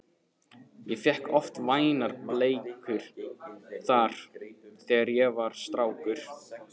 Ég fékk oft vænar bleikjur þar, þegar ég var strákur